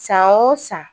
San o san